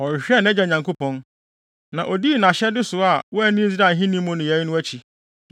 Ɔhwehwɛɛ nʼagya Nyankopɔn, na odii nʼahyɛde so a wanni Israel ahenni mu nneyɛe no akyi.